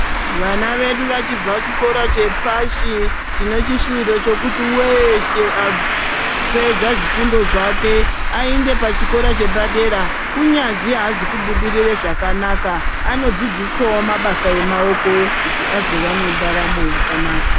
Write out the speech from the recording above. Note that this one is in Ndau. Vana vedu vachibva chikora chepashi tinechishuwiro chekuti weshe apedza zvifundo zvake aende pachikora chepadera kunyazwi azi kubudire zvakanaka anodzidziswawo mabasa emaooko kuti azova nendaramo yakanaka.